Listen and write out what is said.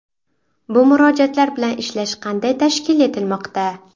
Bu murojaatlar bilan ishlash qanday tashkil etilmoqda?